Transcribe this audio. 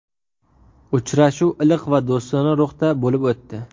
Uchrashuv iliq va do‘stona ruhda bo‘lib o‘tdi.